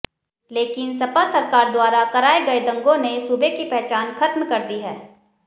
लेकिन सपा सरकार द्वारा कराये गये दंगो ने सूबे की पहचान खत्म कर दी है